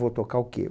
Vou tocar o quê?